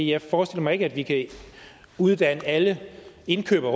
jeg forestiller mig ikke at vi kan uddanne alle indkøbere